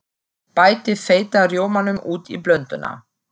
Bætið þeytta rjómanum út í blönduna.